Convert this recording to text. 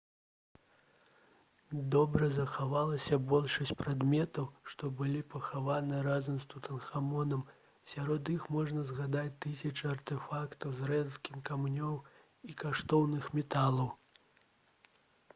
добра захавалася большасць прадметаў што былі пахаваны разам з тутанхамонам сярод іх можна згадаць тысячы артэфактаў з рэдкіх камянёў і каштоўных металаў